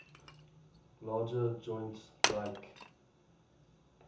larger joints like